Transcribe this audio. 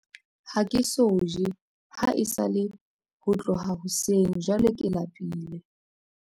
Ha ke so je ha esale ho tloha hoseng jwale ke lapile.